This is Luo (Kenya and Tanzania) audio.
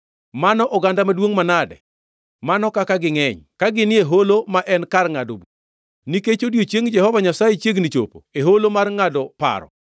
Mano oganda maduongʼ manade, mano kaka gingʼeny ka ginie holo ma en kar ngʼado bura! Nikech odiechieng Jehova Nyasaye chiegni chopo e holo mar ngʼado paro.